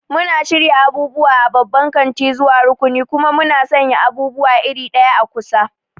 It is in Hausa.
Muna shirya abubuwa a babban kanti zuwa rukuni, kuma muna sanya abubuwa iri ɗaya a kusa.